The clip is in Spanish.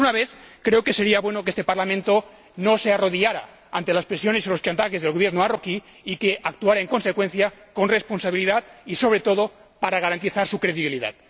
Y, por una vez, creo que sería bueno que este Parlamento no se arrodillara ante las presiones y los chantajes del Gobierno marroquí y que actuara en consecuencia con responsabilidad y, sobre todo, para garantizar su credibilidad.